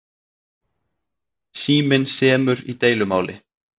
Síminn semur í deilumáli